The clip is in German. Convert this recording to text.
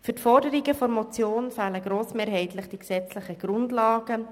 Für die Forderungen der Motion fehlen grossmehrheitlich die gesetzlichen Grundlagen.